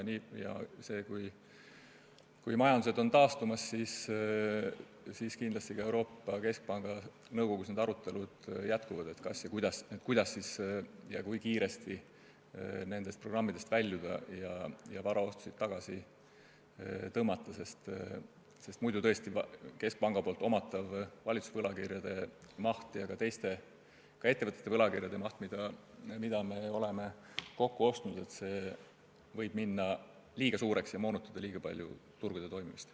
Kui majandused on taastumas, jätkuvad kindlasti ka Euroopa Keskpanga nõukogus arutelud, kas ja kuidas ja kui kiiresti nendest programmidest väljuda ja varaoste tagasi tõmmata, sest muidu võib tõesti keskpanga omatavate valitsuse võlakirjade maht ja ka teiste, ettevõtete võlakirjade maht, mis me oleme kokku ostnud, minna liiga suureks ja moonutada liiga palju turgude toimimist.